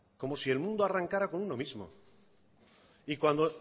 como si el mundo arrancara con uno mismo y cuando